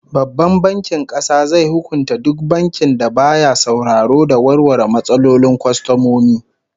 Babban Bankin Kasa zai hukunta duk bankin da baya sauraro da warware matsalolin kwastomomi